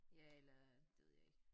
Ja eller det ved jeg ikke